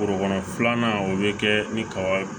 Forokɔnɔ filanan o bɛ kɛ ni kaba ye